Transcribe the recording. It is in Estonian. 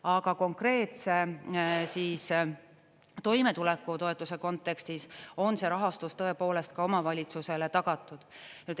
Aga konkreetse toimetuleku toetuse kontekstis on see rahastus tõepoolest ka omavalitsusele tagatud.